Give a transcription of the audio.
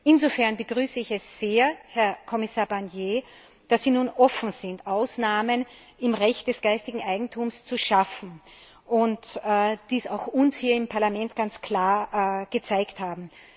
Insofern begrüße ich es sehr, Herr Kommissar Barnier, dass Sie nun offen sind, Ausnahmen im Recht des geistigen Eigentums zu schaffen und dies auch uns hier im Parlament ganz klar gezeigt haben.